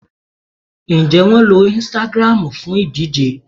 Ǹjẹ́ wọn lo Instagram fún ìdíje